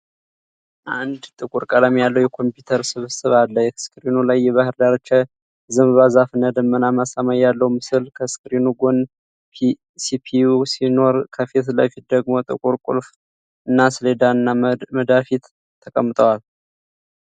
አንድ ጥቁር ቀለም ያለው የኮምፒዩተር ስብስብ አለ። ስክሪኑ ላይ የባህር ዳርቻ፣ የዘንባባ ዛፍና ደመናማ ሰማይ ያለው ምስል፣ ከስክሪኑ ጎን ሲፒዩ ሲኖር፣ ከፊት ለፊቱ ደግሞ ጥቁር ቁልፍ ሰሌዳና መዳፊት ተቀምጠዋል።